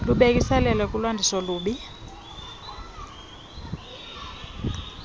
libhekiselele kukwandisa ububi